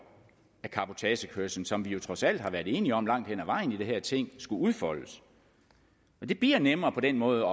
af cabotagekørslen som vi trods alt har været enige om langt hen ad vejen i det her ting skulle udfoldes og det bliver nemmere på den måde